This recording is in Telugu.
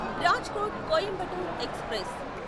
రాజ్కోట్ కొయింబటోర్ ఎక్స్ప్రెస్